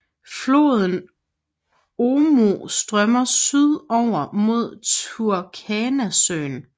Floden Omo strømmer syd over mod Turkanasøen